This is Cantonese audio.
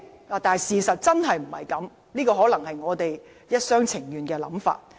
然而，事實真的並非如此，這可能只是我們一廂情願的想法。